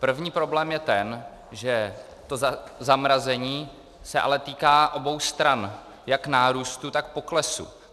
První problém je ten, že to zamrazení se ale týká obou stran, jak nárůstu, tak poklesu.